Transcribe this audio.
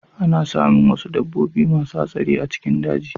Ana samun wuasu dabbobi masu hatsari a cikin daji.